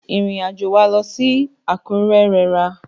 Ìrìn àjò wa lọ sí Àkúrẹ́ rẹra.